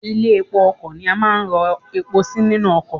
Ilé epo ọkò ni a máa ń ro epo sí nínú okò